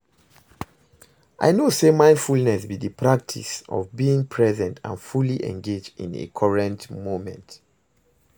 i know say mindfulness be di practice of being present and fully engaged in a current moment.